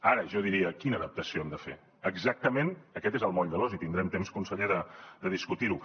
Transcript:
ara jo diria quina adaptació hem de fer exactament aquest és el moll de l’os i tindrem temps conseller de discutir ho